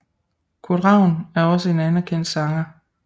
Kurt Ravn er også en anerkendt sanger